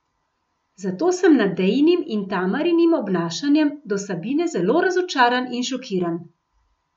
Zato sem nad Dejinim in Tamarinim obnašanjem do Sabine zelo razočaran in šokiran.